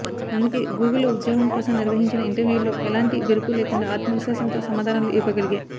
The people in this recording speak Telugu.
అందుకే గూగుల్లో ఉద్యోగం కోసం నిర్వహించిన ఇంటర్వ్యూల్లో ఎలాంటి బెరుకు లేకుండా ఆత్మవిశ్వాసంతో సమాధానాలు ఇవ్వగలిగా